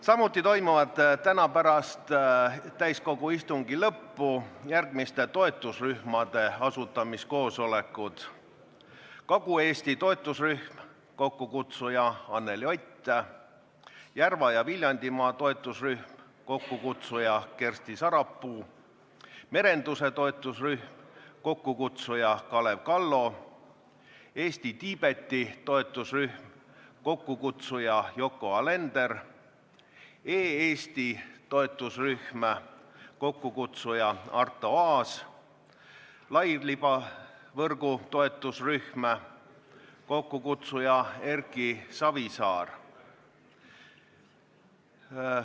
Samuti toimuvad täna pärast täiskogu istungi lõppu järgmiste toetusrühmade asutamiskoosolekud: Kagu-Eesti toetusrühm, kokkukutsuja on Anneli Ott; Järva- ja Viljandimaa toetusrühm, kokkukutsuja on Kersti Sarapuu; merenduse toetusrühm, kokkukutsuja on Kalev Kallo; Eesti-Tiibeti toetusrühm, kokkukutsuja on Yoko Alender; E-Eesti toetusrühm, kokkukutsuja on Arto Aas; lairibavõrgu toetusrühm, kokkukutsuja on Erki Savisaar.